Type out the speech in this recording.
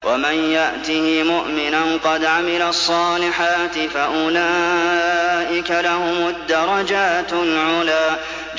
وَمَن يَأْتِهِ مُؤْمِنًا قَدْ عَمِلَ الصَّالِحَاتِ فَأُولَٰئِكَ لَهُمُ الدَّرَجَاتُ الْعُلَىٰ